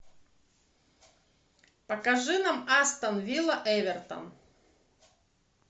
покажи нам астон вилла эвертон